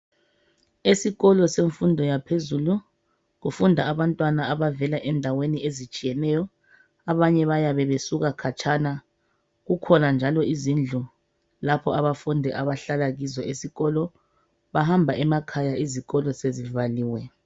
Esikolo semfundo yaphezulu kufunda abantwana abavela endaweni ezitshiyeneyo, abanye bayabe busuka katshana. Kukhona njalo izindlu lapho abafundi abahlala kizo esikolo. Bahamba emakhaya izikolo sezivaliwe.